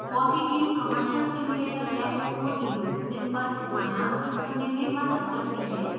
fossee team commercial simulator labs को dwsim पर स्थानांतरित करने में मदद करती है